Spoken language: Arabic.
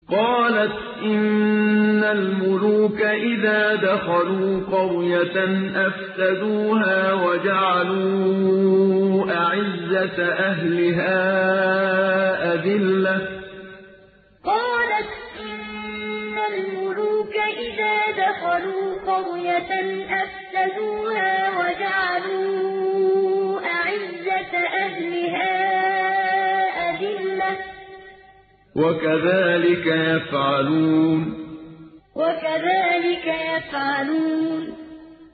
قَالَتْ إِنَّ الْمُلُوكَ إِذَا دَخَلُوا قَرْيَةً أَفْسَدُوهَا وَجَعَلُوا أَعِزَّةَ أَهْلِهَا أَذِلَّةً ۖ وَكَذَٰلِكَ يَفْعَلُونَ قَالَتْ إِنَّ الْمُلُوكَ إِذَا دَخَلُوا قَرْيَةً أَفْسَدُوهَا وَجَعَلُوا أَعِزَّةَ أَهْلِهَا أَذِلَّةً ۖ وَكَذَٰلِكَ يَفْعَلُونَ